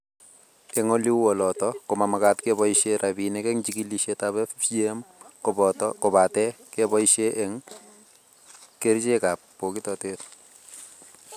Eng oleu oloto ko mamakat keboisie rabiinik eng jikilisietab FGM kobate keboisie eng kerichekab bokitotet